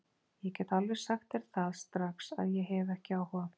Ég get alveg sagt þér það strax að ég hef ekki áhuga!